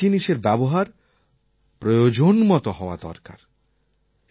প্রত্যেক জিনিষের ব্যবহার প্রয়োজনমত হওয়া দরকার